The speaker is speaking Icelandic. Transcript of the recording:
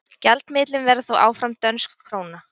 Gjaldmiðillinn verður þó áfram dönsk króna.